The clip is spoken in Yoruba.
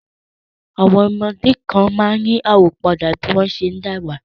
Àwọn ọmọdé kan máa ń yí àwọ̀ padà bí wọ́n ṣe ń dàgbà